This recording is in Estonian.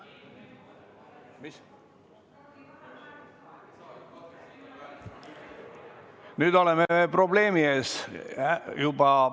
Nüüd oleme probleemi ees.